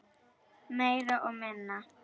Meira og minna.